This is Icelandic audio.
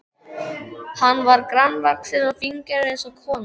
Hann var grannvaxinn og fíngerður eins og kona.